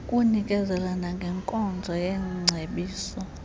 kunikezela nangenkonzo yeengcebiso